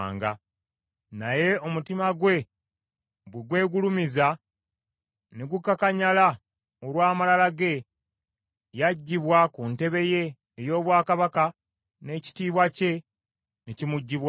Naye omutima gwe bwe gwegulumiza ne gukakanyala olw’amalala ge, yaggyibwa ku ntebe ye ey’obwakabaka, n’ekitiibwa kye ne kimuggyibwako.